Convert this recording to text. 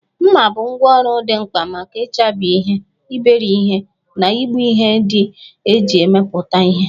Mma bụ ngwá ọrụ dị mkpa maka ịchabi ihe, iberi ihe, na igbu ihe ndị e ji emepụta ihe.